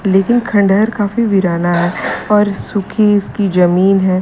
लेकिन खंडहर काफी वीराना है और सुखी इसकी जमीन है।